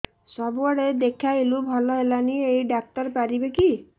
ସବୁଆଡେ ଦେଖେଇଲୁ ଭଲ ହେଲାନି ଏଇ ଡ଼ାକ୍ତର ପାରିବେ କି